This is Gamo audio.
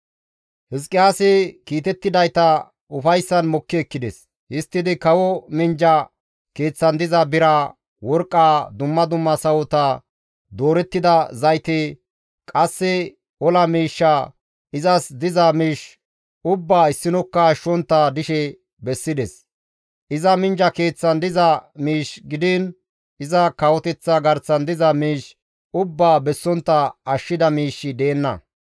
Hizqiyaasi kiitettidayta ufayssan mokki ekkides; histtidi kawo minjja keeththan diza biraa, worqqaa, dumma dumma sawota, doorettida zayte, qasse ola miishshaa, izas diza miish ubbaa issinokka ashshontta dishe bessides. Iza minjja keeththan diza miish gidiin iza kawoteththa garsan diza miish ubbaa bessontta ashshida miishshi deenna.